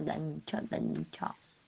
да ничего да ничего